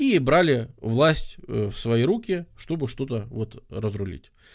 и брали власть в свои руки чтобы что-то вот разрулить